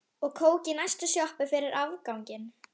Og kók í næstu sjoppu fyrir afganginn.